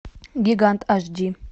гигант аш ди